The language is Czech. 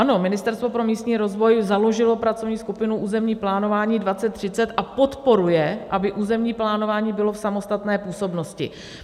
Ano, Ministerstvo pro místní rozvoj založilo pracovní skupinu Územní plánování 2030 a podporuje, aby územní plánování bylo v samostatné působnosti.